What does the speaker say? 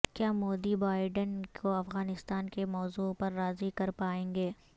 کیا مودی بائئڈن کو افغانستان کے موضوع پر راضی کر پائیں گے